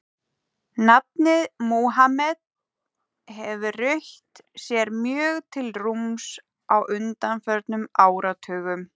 Nafnið Múhameð hefur rutt sér mjög til rúms á undanförnum áratugum.